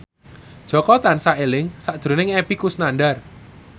Jaka tansah eling sakjroning Epy Kusnandar